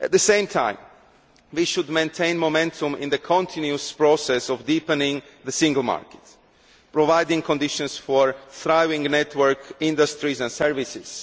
At the same time, we should maintain momentum in the continuous process of deepening the single market by creating conditions for thriving network industries and services